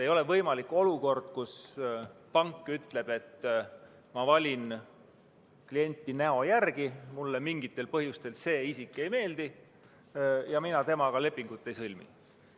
Ei ole võimalik olukord, kus pank ütleb, et ma valin klienti näo järgi ning et mulle mingitel põhjustel see isik ei meeldi ja mina temaga lepingut ei sõlmi.